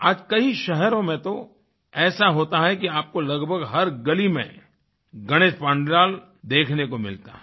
आज कई शहरों में तो ऐसा होता है कि आपको लगभग हर गली में गणेशपंडाल देखने को मिलता है